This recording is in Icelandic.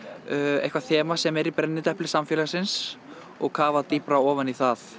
eitthvað þema sem er í brennidepli samfélagsins og kafað dýpra ofan í það